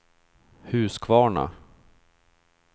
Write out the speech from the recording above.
Huskvarna